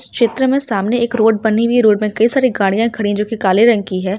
इस चित्र में सामने एक रोड बनी हुई है रोड में कई सारी गाड़िया खड़ी हैं जोकि काले रंग की है।